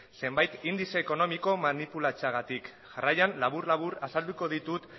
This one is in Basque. zenbait indize ekonomiko manipulatzeagatik jarraian labur labur azalduko ditut